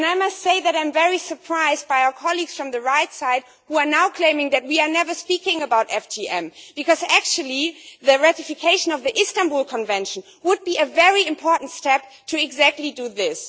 I must say that I am very surprised by our colleagues on the right, who are now claiming that we never speak about FGM because actually the ratification of the Istanbul Convention would be a very important step to do exactly that.